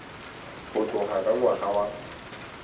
go tloga ka ngwaga wa